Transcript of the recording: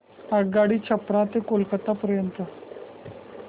आगगाडी छपरा ते कोलकता पर्यंत